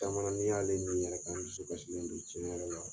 Caman la yɛrɛ kan n dusu kasilen do cɛn yɛrɛ la.